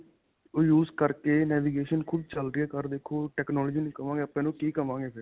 ਓਹ use ਕਰਕੇ navigation ਖੁੱਦ ਚਲਦੀ ਹੈ ਕਾਰ ਦੇਖੋ technology ਨਹੀ ਕਹਾਂਗੇ ਆਪਾਂ ਇਸ ਨੂੰ ਕੀ ਕਹਾਂਗੇ ਫ਼ਿਰ .